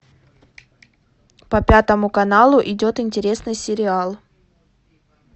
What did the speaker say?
по пятому каналу идет интересный сериал